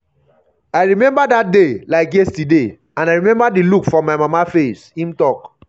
i remember dat day like yesterday and i remember di look for my my mama face" im tok.